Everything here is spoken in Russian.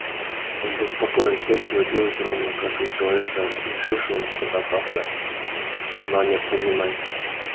он был спокоен сердце его билось ровно как у человека решившего на что-то опасное но необходимое